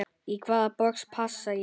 Í hvaða box passa ég?